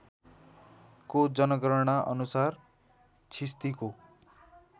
को जनगणना अनुसार छिस्तीको